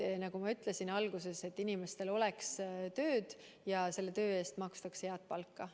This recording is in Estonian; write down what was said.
Nagu ma ütlesin alguses, et inimestel oleks tööd ja selle töö eest makstaks head palka.